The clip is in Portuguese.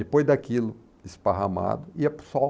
Depois daquilo esparramado, ia para o sol.